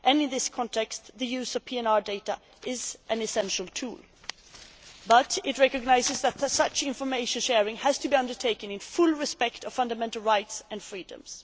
In this context, the use of PNR data is an essential tool but it recognises that such information sharing has to be undertaken in full respect of fundamental rights and freedoms.